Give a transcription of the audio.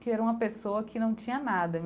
que era uma pessoa que não tinha nada.